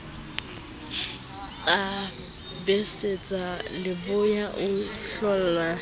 a betsetsa leboya o hlollwa